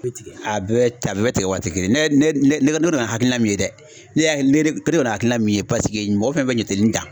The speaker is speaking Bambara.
A bɛɛ bɛ tigɛ, a bɛɛ bɛ a bɛɛɛ bɛ tigɛ waati kelen ne ne ne ne kɔni ye hakilina min ye dɛ, ne y'a ye ne kɔni ye hakilina min ye paseke mɔgɔ fɛn fɛn bɛ jate nin kan.